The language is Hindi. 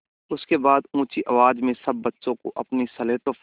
उसके बाद ऊँची आवाज़ में सब बच्चों को अपनी स्लेटों पर